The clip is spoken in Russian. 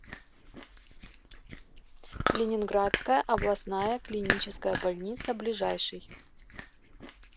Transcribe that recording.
ленинградская областная клиническая больница ближайший